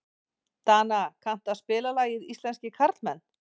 Dana, kanntu að spila lagið „Íslenskir karlmenn“?